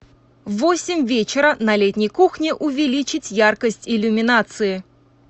в восемь вечера на летней кухне увеличить яркость иллюминации